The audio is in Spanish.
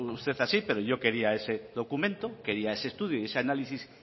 usted así pero yo quería ese documento ese estudio y ese análisis